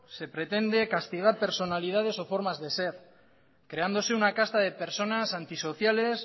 se pretende castigar personalidades o formas de ser creándose una casta de personas antisociales